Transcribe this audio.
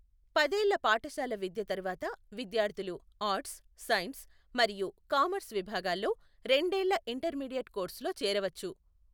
పదేళ్ల పాఠశాల విద్య తర్వాత విద్యార్థులు ఆర్ట్స్, సైన్స్, మరియు కామర్స్ విభాగాల్లో రెండేళ్ల ఇంటర్మీడియట్ కోర్సులో చేరవచ్చు.